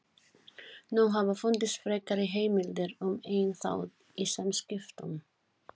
Nú hafa fundist frekari heimildir um einn þátt í samskiptum